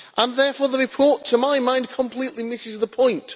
Therefore the report, to my mind, completely misses the point.